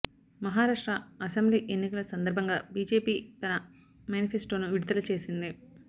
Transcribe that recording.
Maharashtra assembly ఎన్నికల సందర్భంగా BJP తన మేనిఫెస్టోను విడుదల చేసింది